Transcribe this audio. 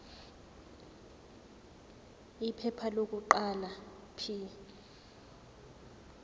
iphepha lokuqala p